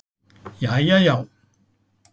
Jæja já.